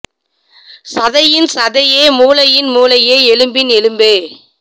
சதையின் சதையே மூளையின் மூளையே எலும்பின் எலும்பே